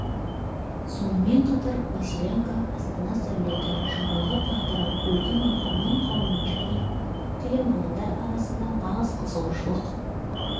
сонымен қатар василенко астана сәулеті жұмбағы тағдыры үлкен оқырман қауым және көптеген мамандар арасында нағыз қызығушылық